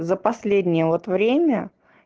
за последние вот время